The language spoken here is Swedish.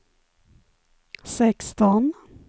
sexton